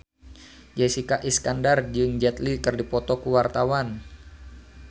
Jessica Iskandar jeung Jet Li keur dipoto ku wartawan